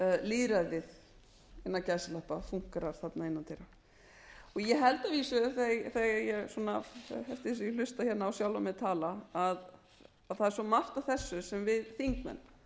lýðræðið innan gæsalappa fúnkerar þarna innan dyra ég held að vísu þegar ég hlusta hérna á sjálfa mig tala að það sé svo margt af þessu sem við þingmenn